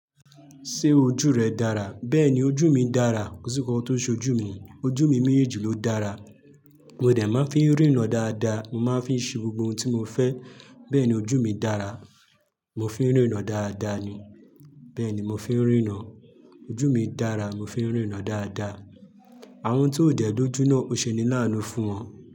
Ṣé ojú rẹ dára? Bẹ́ẹ̀ni, ojú mi dára, kò sì nkọ́kọ́ tó ṣe ojú mi, ojú mi méjì ló dára. Mo dẹ̀ máa ń fi ń ríran dáadáa, mo máa ń fi ṣe gbogbo ohun tí mo fẹ́. Bẹ́ẹ̀ni ojú mi dára, mo fi ń ríran dáadáa ni. Bẹ́ẹ̀ni mo fi ń ríran, ojú mi dára mo fi ń ríran dáadáa. Àwọn tó dẹ̀ n ójú náà ó ṣe ní láánú fún wọn.